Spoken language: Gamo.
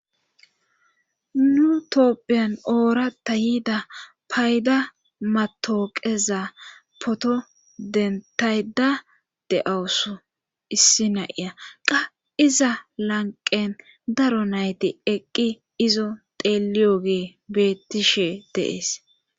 nu toopphiyan oorata yiida payda matooqeza poto dentayda de7awusu issi naiya qa iza lanqen daro nayti eqqi izo teeliyogee bettishe dee'es